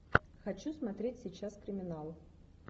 хочу смотреть сейчас криминал